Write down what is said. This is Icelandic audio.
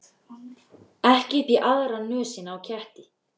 Ekki upp í aðra nösina á ketti.